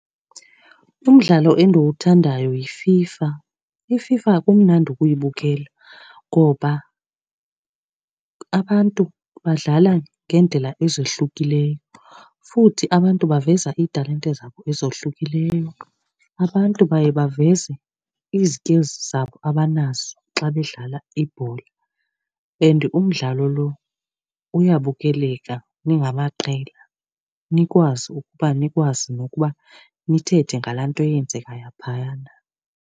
Umdlalo endiwuthandayo yiFIFA. IFIFA kumnandi ukuyibukela ngoba abantu badlala ngeendlela ezohlukileyo futhi abantu baveza iitalente zabo ezohlukileyo. Abantu baye baveze izikilzi zabo abanazo xa bedlala ibhola and umdlalo lo uyabukeleka ningamaqela, nikwazi ukuba nikwazi nokuba nithethe ngalaa nto eyenzekayo phayana.